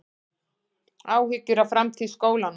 Áhyggjur af framtíð skólanna